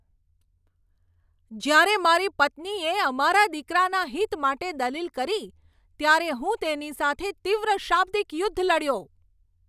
જયારે મારી પત્નીએ અમારા દીકરાના હિત માટે દલીલ કરી ત્યારે હું તેની સાથે તીવ્ર શાબ્દિક યુદ્ધ લડ્યો.